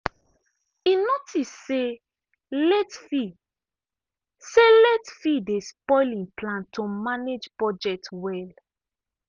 e notice say late fee say late fee dey spoil him plan to manage budget well.